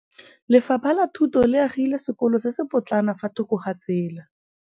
Lefapha la Thuto le agile sekôlô se se pôtlana fa thoko ga tsela.